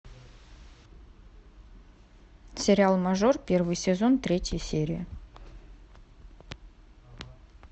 сериал мажор первый сезон третья серия